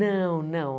Não, não.